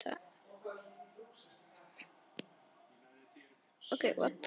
Það er nóg pláss.